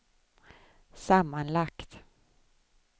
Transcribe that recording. sammanlagt